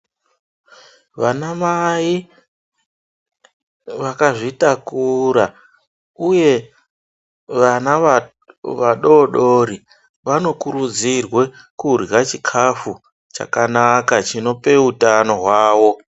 Vanamai vakazvitakura uye vana vadori dori vanokurudzirwe kurya chikafu chakanaka chinope utano hwavo.